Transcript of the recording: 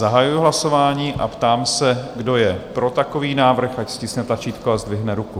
Zahajuji hlasování a ptám se, kdo je pro takový návrh, ať stiskne tlačítko a zdvihne ruku.